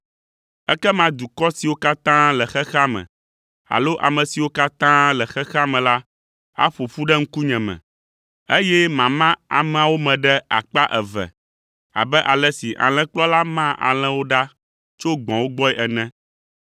Ekema dukɔ siwo katã le xexea me alo ame siwo katã le xexea me la aƒo ƒu ɖe ŋkunyeme, eye mama ameawo me ɖe akpa eve abe ale si alẽkplɔla maa alẽwo ɖa tso gbɔ̃wo gbɔe ene.